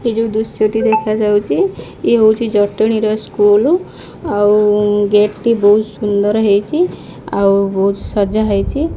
ଯେଉଁ ପଡେ ହନୁମାନ ଚାଳିଶ ହୋଇ ସିଦ୍ଧି ସଖି ଗୌରୀ ସା।